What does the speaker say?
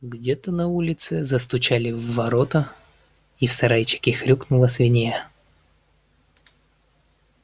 где-то на улице застучали в ворота и в сарайчике хрюкнула свинья